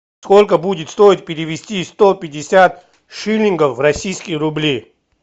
сколько будет стоить перевести сто пятьдесят шиллингов в российские рубли